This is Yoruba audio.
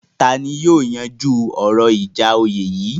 Ta ni yóò yanjú ọ̀rọ̀ ìjà oyè yìí?